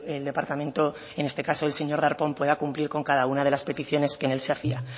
el departamento en este caso del señor darpón pueda cumplir con cada una de las peticiones que en él se hacía